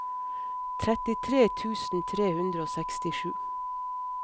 trettitre tusen tre hundre og sekstisju